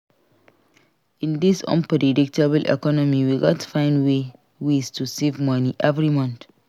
In dis unpredictable economy we gats find ways to save money every month.